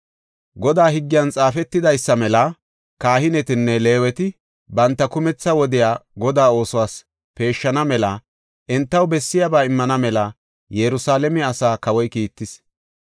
Godaa higgiyan xaafetidaysada kahinetinne Leeweti banta kumetha wodiya Godaa oosos peeshshana mela entaw bessiyaba immana mela Yerusalaame asaa kawoy kiittis.